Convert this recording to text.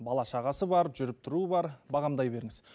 бала шағасы бар жүріп тұруы бар бағамдай беріңіз